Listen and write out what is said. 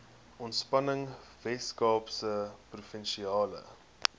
ontspanning weskaapse provinsiale